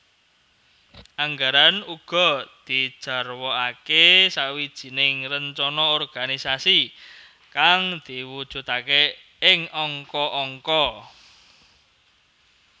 Anggaran uga dijarwakake sawijining rencana organisasi kang diwujudake ing angka angka